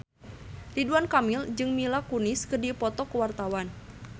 Ridwan Kamil jeung Mila Kunis keur dipoto ku wartawan